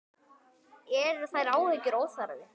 Eru þær áhyggjur óþarfi?